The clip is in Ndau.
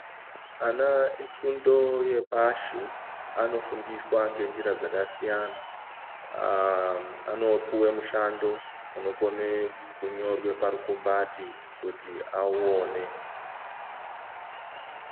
Ana efundo yepashi anofundiswa ngenjira dzakasiyana .Anopuwe mushando unokone kunyorwe parukumbati kuti auone.